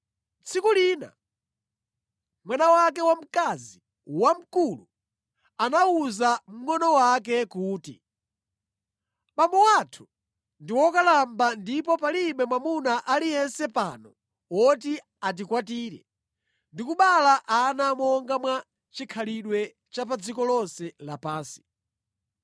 Tsiku lina mwana wake wamkazi wamkulu anawuza mngʼono wake kuti, “Abambo athu ndi wokalamba ndipo palibe mwamuna aliyense pano woti atikwatire ndi kubereka ana monga mwa chikhalidwe cha pa dziko lonse lapansi.